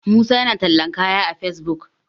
musa yana tallan kaya a fesbuk